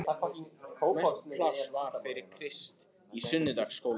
Mest pláss var fyrir Krist í sunnudagaskólanum.